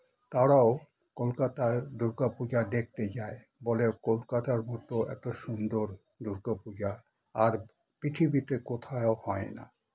তারাও কলকাতার দুর্গা পুজা দেখতে যায় বলে কলকাতার মত এত সুন্দর দূর্গা পূজা আর পৃথিবীতে কোথাও হয়ে না